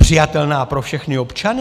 Přijatelná pro všechny občany?